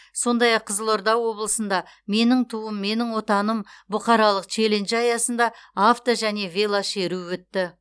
сондай ақ қызылорда облысында менің туым менің отаным бұқаралық челленджі аясында авто және велошеру өтті